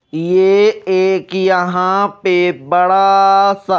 ये एक यहां पे बड़ा सा--